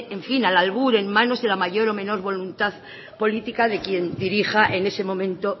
en fin al albur en manos de la mayor o menos voluntad política de quien dirija en ese momento